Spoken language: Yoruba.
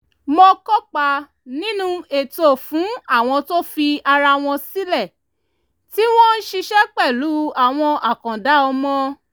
mo kópa nínú ètò fún àwọn tó fi ara wọn sílẹ̀ tí wọ́n ń ṣiṣẹ́ pẹ̀lú àwọn àkàndá ọmọ